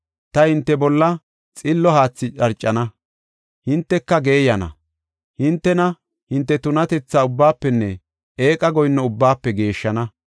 Ta hinte bolla xillo haathi dharcana; hinteka geeyana. Hintena hinte tunatethi ubbaafenne eeqa goyinno ubbaafe geeshshana.